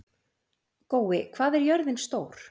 Gói, hvað er jörðin stór?